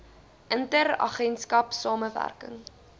inter agentskap samewerking